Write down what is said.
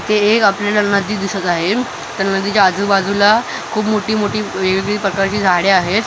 हे एक दिसत आहे त्या आजूबाजूला खूप मोठी मोठी वेगवेगळी प्रकारची झाडे आहेत त्या मधी ज्या--